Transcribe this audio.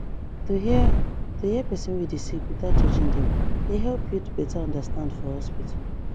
to hear to hear person wey dey sick without judging dem dey help build beta understand for hospital